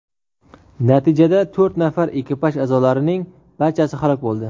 Natijada to‘rt nafar ekipaj a’zolarining barchasi halok bo‘ldi.